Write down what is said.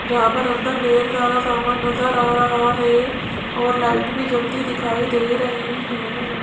जहां पर अंदर ढेर सारा सामान नजर आ रहा है और लाइट भी जलती दिखाई दे रही है।